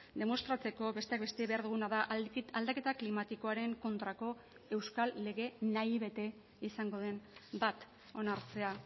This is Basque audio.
demostratzeko besteak beste behar duguna da aldaketa klimatikoaren kontrako euskal lege nahi bete izango den bat onartzea